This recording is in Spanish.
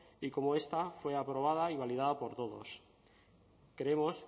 y cómo esta fue aprobada y validada por todos creemos